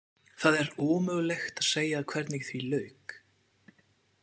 Það er ómögulegt að segja hvernig því lauk.